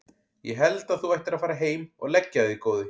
Ég held að þú ættir að fara heim og leggja þig góði!